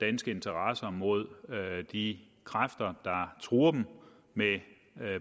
danske interesser mod de kræfter der truer dem med